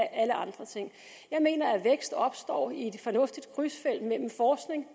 alle andre ting jeg mener at vækst opstår i et fornuftigt krydsfelt mellem forskning